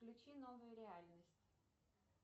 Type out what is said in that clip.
включи новую реальность